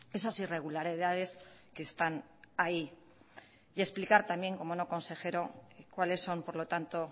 esas irregularidades que están ahí y explicar también cómo no consejero cuáles son por lo tanto